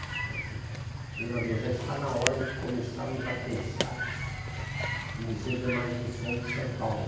Falei assim, ''governador, já está na hora de começarmos a pensar no Museu da Imagem do Som de São Paulo''.